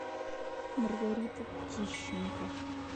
маргарита тищенко